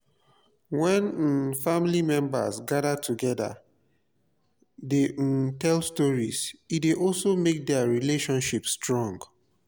when um family members gather together de um tell stories e de also make their relationship strong